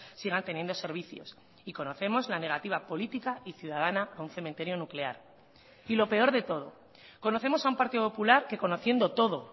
sigan teniendo servicios y conocemos la negativa política y ciudadana a un cementerio nuclear y lo peor de todo conocemos a un partido popular que conociendo todo